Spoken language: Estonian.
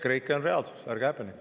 EKREIKE on reaalsus, ärge häbenege.